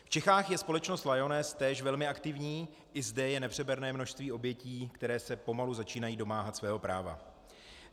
V Čechách je společnost Lyoness též velmi aktivní, i zde je nepřeberné množství obětí, které se pomalu začínají domáhat svého práva.